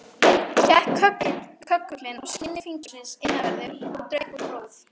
Hékk köggullinn á skinni fingursins innanverðu, og draup úr blóð.